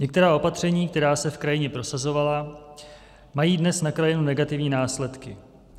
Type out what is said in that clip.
Některá opatření, která se v krajině prosazovala, mají dnes na krajinu negativní následky.